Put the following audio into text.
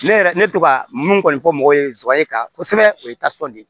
Ne yɛrɛ ne to ka mun kɔni fɔ mɔgɔw ye zowaye ka kosɛbɛ o ye tasuma de ye